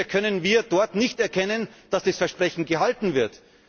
Bisher können wir dort nicht erkennen, dass das Versprechen gehalten